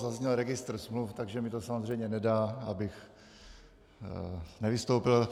Zazněl registr smluv, takže mi to samozřejmě nedá, abych nevystoupil.